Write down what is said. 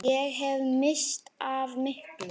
Ég hefði misst af miklu.